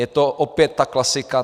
Je to opět ta klasika.